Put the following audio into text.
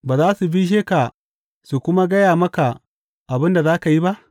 Ba za su bishe ka su kuma gaya maka abin da za ka yi ba?